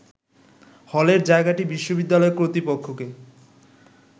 হলের জায়গাটি বিশ্ববিদ্যালয় কর্তৃপক্ষকে